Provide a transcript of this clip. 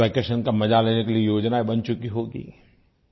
vacation का मज़ा लेने के लिये योजनायें बन चुकी होंगी